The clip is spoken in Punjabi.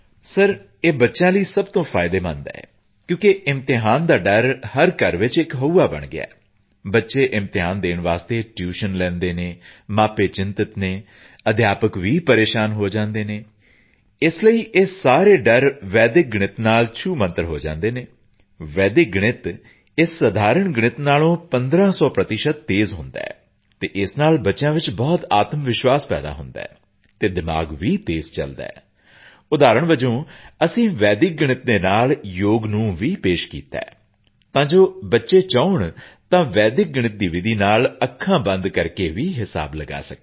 ਸਰ ਇਹ ਬੱਚਿਆਂ ਲਈ ਸਭ ਤੋਂ ਫਾਇਦੇਮੰਦ ਹੈ ਕਿਉਂਕਿ ਇਮਤਿਹਾਨ ਦਾ ਡਰ ਹਰ ਘਰ ਵਿੱਚ ਹਊਆ ਬਣ ਗਿਆ ਹੈ ਬੱਚੇ ਇਮਤਿਹਾਨ ਦੇਣ ਲਈ ਟਿਊਸ਼ਨ ਲੈਂਦੇ ਹਨ ਮਾਪੇ ਚਿੰਤਿਤ ਹਨ ਅਧਿਆਪਕ ਵੀ ਪਰੇਸ਼ਾਨ ਹੋ ਜਾਂਦੇ ਹਨ ਇਸ ਲਈ ਇਹ ਸਾਰਾ ਡਰ ਵੈਦਿਕ ਗਣਿਤ ਨਾਲ ਸ਼ੂਮੰਤਰ ਹੋ ਜਾਂਦਾ ਹੈ ਵੈਦਿਕ ਗਣਿਤ ਇਸ ਸਧਾਰਣ ਗਣਿਤ ਨਾਲੋਂ ਪੰਦਰਾਂ ਸੌ ਪ੍ਰਤੀਸ਼ਤ ਤੇਜ਼ ਹੁੰਦਾ ਹੈ ਅਤੇ ਇਸ ਨਾਲ ਬੱਚਿਆਂ ਵਿੱਚ ਬਹੁਤ ਆਤਮਵਿਸ਼ਵਾਸ ਪੈਦਾ ਹੁੰਦਾ ਹੈ ਅਤੇ ਦਿਮਾਗ਼ ਵੀ ਤੇਜ਼ ਚਲਦਾ ਹੈ ਉਦਾਹਰਣ ਵਜੋਂ ਅਸੀਂ ਵੈਦਿਕ ਗਣਿਤ ਦੇ ਨਾਲ ਯੋਗ ਨੂੰ ਵੀ ਪੇਸ਼ ਕੀਤਾ ਹੈ ਤਾਂ ਜੋ ਬੱਚੇ ਚਾਹੁਣ ਤਾਂ ਵੈਦਿਕ ਗਣਿਤ ਦੀ ਵਿਧੀ ਨਾਲ ਅੱਖਾਂ ਬੰਦ ਕਰਕੇ ਵੀ ਹਿਸਾਬ ਲਗਾ ਸਕਣ